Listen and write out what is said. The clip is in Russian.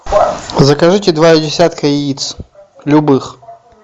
закажите два десятка яиц любых